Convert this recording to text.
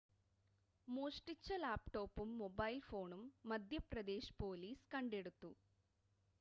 മോഷ്‌ടിച്ച ലാപ്‌ടോപ്പും മൊബൈൽ ഫോണും മധ്യപ്രദേശ് പൊലീസ് കണ്ടെടുത്തു